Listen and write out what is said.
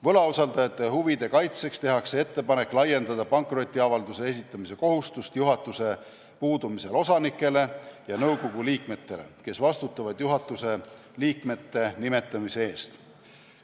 Võlausaldajate huvide kaitseks tehakse ettepanek laiendada pankrotiavalduse esitamise kohustust juhatuse puudumisel osanikele ja nõukogu liikmetele, kes vastutavad juhatuse liikmete nimetamise eest.